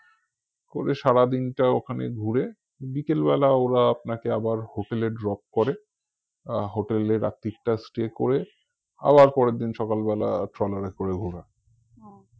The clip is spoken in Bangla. করে সারা দিনটা ওখানে ঘুরে বিকেলবেলা ওরা আপনাকে আবার hotel এ drop করে আহ hotel এ রাত্তিরটা stay করে আবার পরের দিন সকাল বেলা ট্রলার এ করে ঘোরায়